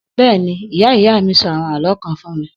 Bẹ́ẹ̀ni, ìyá ìyá mí sọ àwọn àlọ́ kan fún mi